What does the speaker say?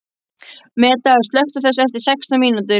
Meda, slökktu á þessu eftir sextán mínútur.